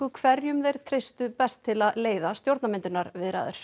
hverjum þeir treystu best til að leiða stjórnarmyndunarviðræður